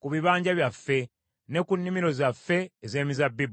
ku bibanja byaffe ne ku nnimiro zaffe ez’emizabbibu.